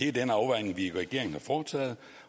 er den afvejning vi i regeringen har foretaget